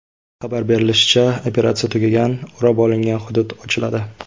Xabar berilishicha, operatsiya tugagan, o‘rab olingan hudud ochiladi.